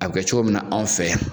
A bi kɛ cogo min na anw fɛ yan.